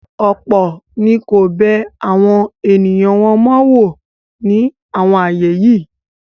ọ̀pọ̀ ni kò bẹ àwọn ènìyàn wọn wò mó ní àwọn ààyè yìí.